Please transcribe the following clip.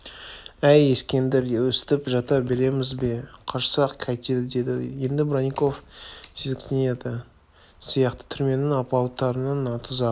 әй ескендір өстіп жата береміз бе қашсақ қайтеді деді енді бронников сезіктенетін сияқты түрменің алпауыттарының тұзағы